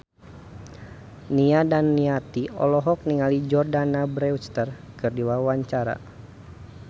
Nia Daniati olohok ningali Jordana Brewster keur diwawancara